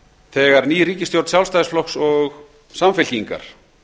þegar ný ríkisstjórn sjálfstæðisflokks og samfylkingar